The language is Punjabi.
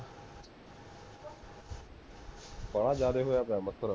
ਬਾਲਾ ਜ਼ਿਆਦਾ ਹੋਇਆ ਪਿਆ ਮੱਛਰ